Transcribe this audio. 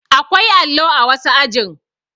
Akwai allo a wasu ajin